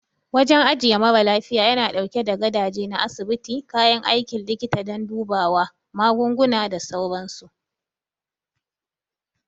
Wajen ajiye mara lafiya yana ɗauke da gadaje na asibiti, kayan aikin likita don dubawa, magunguna, da sauransu.